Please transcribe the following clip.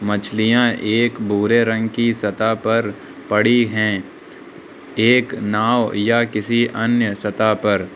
मछलियां एक भूरे रंग की सतह पर पड़ी हैं। एक नाव या किसी अन्य सतह पर।